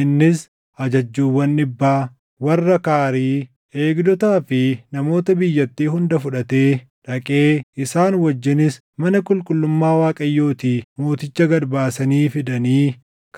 Innis ajajjuuwwan dhibbaa, warra Kaarii, eegdotaa fi namoota biyyattii hunda fudhatee dhaqee isaan wajjinis mana qulqullummaa Waaqayyootii mooticha gad baasanii fidanii